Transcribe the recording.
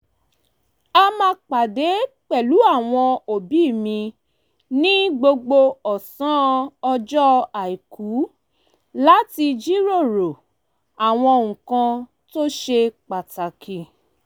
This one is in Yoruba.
a máa pàdé pẹlu àwọn òbí mi ní gbogbo ọ̀sán ọjọ́ àìkú láti jiròrò àwọn nǹkan tó ṣe pàtàkì